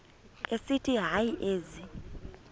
esithi hayi ezi